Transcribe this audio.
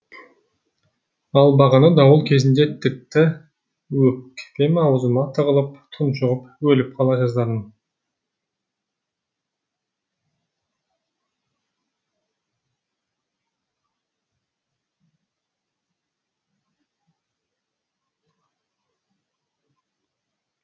ал бағана дауыл кезінде тіпті өкпем аузыма тығылып тұншығып өліп қала жаздадым